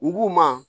U b'u ma